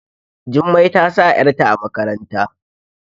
Jummai ta sa yarta a makarantar